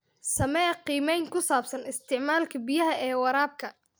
Samee qiimeyn ku saabsan isticmaalka biyaha ee waraabka.